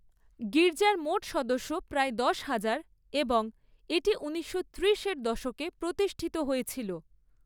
গির্জার মোট সদস্য প্রায় দশ হাজার এবং এটি ঊনিশশো ত্রিশের দশকে প্রতিষ্ঠিত হয়েছিল।